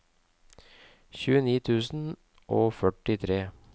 tjueni tusen og førtitre